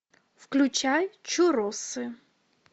включай чурросы